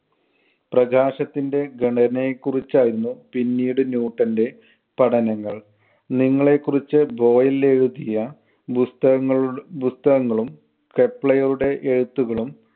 പ്രകാശത്തിന്‍റെ ഘടനയെ കുറിച്ചായിരുന്നു പിന്നീട് ന്യൂട്ടന്‍റെ പഠനങ്ങൾ. നിങ്ങളെക്കുറിച്ച് ബോയിലെഴുതിയ പുസ്തകങ്ങളു~ പുസ്തകങ്ങളും കെപ്ലയുടെ എഴുത്തുകളും